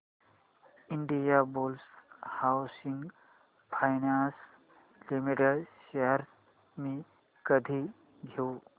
Indiabulls housing finance limited shares मी कधी घेऊ